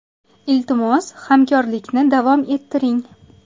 Iltimos, hamkorlikni davom ettiring.